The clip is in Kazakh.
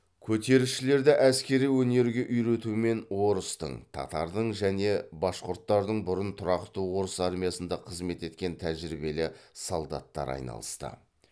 көтерілісшілерді әскери өнерге үйретумен орыстың татардың және башқұрттардың бұрын тұрақты орыс армиясында қызмет еткен тәжірибелі солдаттары айналысты